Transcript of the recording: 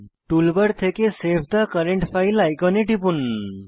toolbar থেকে save the current file আইকনে টিপুন